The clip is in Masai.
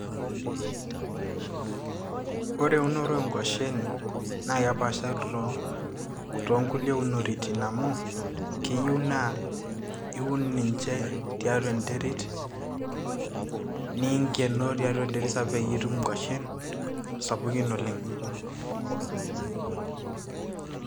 ore eunore oo nkuashen naa kepaashari toonkulie unoritin amu keyieu naa iun ninche tiatua enterit ninkenoo tiatua enterit sapuk peyie itum inkuashen sapukin oleng.